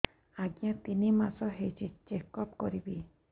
ଆଜ୍ଞା ତିନି ମାସ ହେଇଛି ଚେକ ଅପ କରିବି